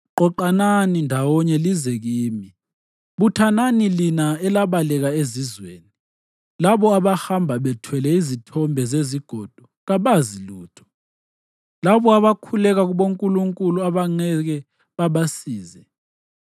Qoqanani ndawonye lize kimi; buthanani lina elabaleka ezizweni. Labo abahamba bethwele izithombe zezigodo kabazi lutho; labo abakhuleka kubonkulunkulu abangeke babasize.”